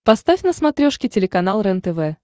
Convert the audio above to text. поставь на смотрешке телеканал рентв